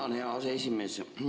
Tänan, hea aseesimees!